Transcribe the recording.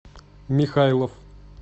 михайлов